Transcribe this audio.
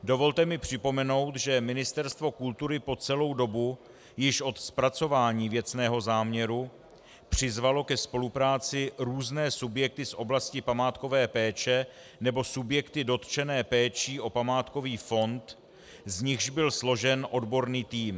Dovolte mi připomenout, že Ministerstvo kultury po celou dobu již od zpracování věcného záměru přizvalo ke spolupráci různé subjekty z oblasti památkové péče nebo subjekty dotčené péčí o památkový fond, z nichž byl složen odborný tým.